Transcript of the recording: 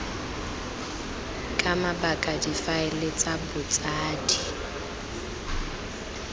ka mabaka difaele tsa botsadi